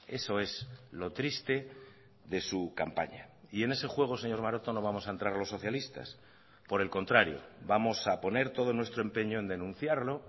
eso es lo triste de su campaña y en ese juego señor maroto no vamos a entrar los socialistas por el contrario vamos a poner todo nuestro empeño en denunciarlo